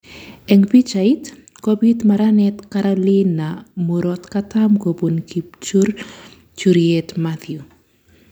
Eng pichait: Kobiit maranet Carolina murokatam kobun kipchurchuryet Matthew